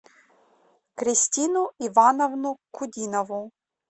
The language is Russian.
кристину ивановну кудинову